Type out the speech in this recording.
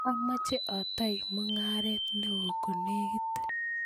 amoche atoi mungaret neo konekit